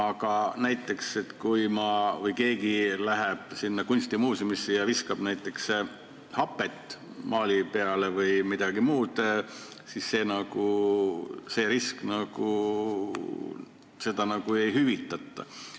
Kas näiteks sellist riski, kui keegi läheb kunstimuuseumisse ja viskab näiteks hapet või midagi muud maali peale, ei kaeta hüvitisega?